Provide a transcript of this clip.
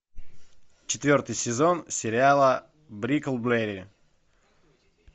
четвертый сезон сериала бриклберри